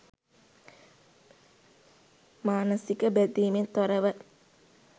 මානසික බැඳීමෙන් තොරව